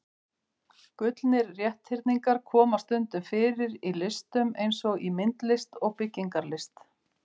Gullnir rétthyrningar koma stundum fyrir í listum eins og í myndlist og byggingarlist.